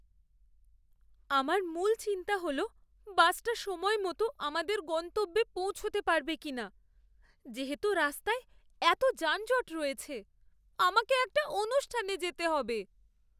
আমার মূল চিন্তা হল বাসটা সময়মত আমাদের গন্তব্যে পৌঁছাতে পারবে কিনা যেহেতু রাস্তায় এতো যানজট রয়েছে। আমাকে একটা অনুষ্ঠানে যেতে হবে।